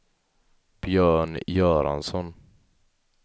Björn Göransson